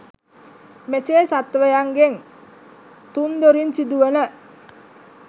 මෙසේ සත්ත්වයන්ගෙන් තුන් දොරින් සිදුවන